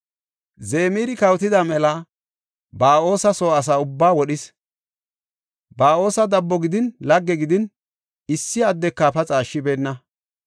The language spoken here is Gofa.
Zimira kawotida mela Ba7oosa soo asa ubbaa wodhis. Ba7oosi dabbo gidin lagge gidin issi addeka paxa ashshibeenna.